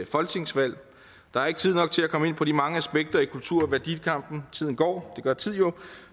folketingsvalg der er ikke tid nok til at komme ind på de mange aspekter i kultur og værdikampen tiden går det gør tid jo